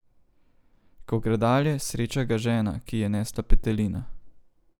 Ko gre dalje, sreča ga žena, ki je nesla petelina.